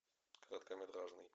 короткометражный